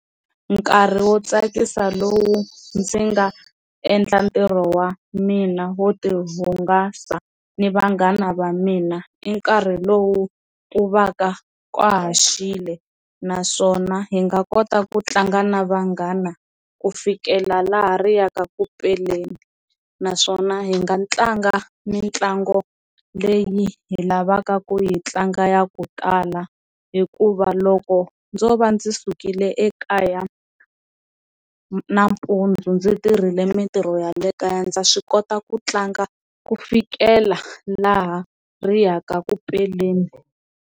Nkarhi wo tsakisa lowu ndzi nga endla ntirho wa mina wo ti hungasa ni vanghana va mina i nkarhi lowu ku va ka ka ha xile naswona hi nga kota ku tlanga na vanghana ku fikela laha ri yaka ku peleni, naswona hi nga tlanga mitlangu leyi hi lavaka ku yi tlanga ya ku kala hikuva loko ndzo va ndzi sukile ekaya nampundzu ndzi tirhile mintirho ya le kaya ndza swi kota ku tlanga ku fikela laha ri yaka ku peleni.